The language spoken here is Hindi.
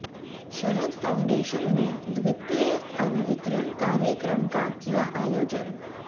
शरद फॉऊडेशन ने द्वितीय अन्न वितरण कार्यक्रम का किया आयोजन